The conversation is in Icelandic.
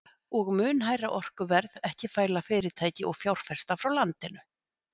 Og mun hærra orkuverð ekki fæla fyrirtæki og fjárfesta frá landinu?